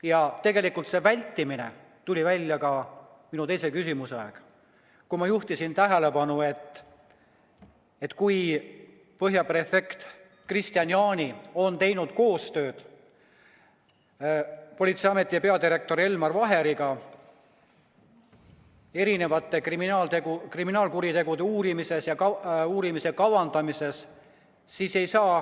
Ja tegelikult see vältimine tuli välja ka minu teise küsimuse peale, kui ma juhtisin tähelepanu, et Põhja prefektuuri prefekt Kristian Jaani on teinud koostööd Politseiameti peadirektori Elmar Vaheriga erinevate kriminaalkuritegude uurimisel ja uurimise kavandamisel.